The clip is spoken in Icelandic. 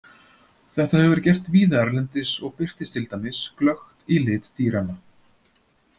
Þetta hefur verið gert víða erlendis og birtist til dæmis glöggt í lit dýranna.